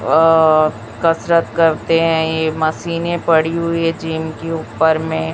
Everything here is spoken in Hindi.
कसरत करते हैं। ये मशीन पड़ी हुई जिम ऊपर में--